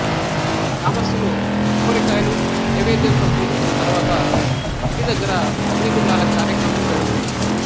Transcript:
గ్రామస్థులు కొబ్బరికాయలు నైవేద్యంతో పూజించిన తరువాత గుడి దగ్గర అగ్నిగుండాల కార్యక్రమం జరుగుతుంది